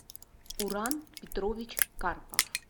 уран петрович карпов